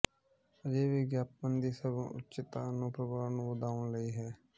ਅਜਿਹੇ ਵਿਗਿਆਪਨ ਦੀ ਸਰਵਉੱਚਤਾ ਨੂੰ ਪ੍ਰਭਾਵ ਨੂੰ ਵਧਾਉਣ ਲਈ ਹੈ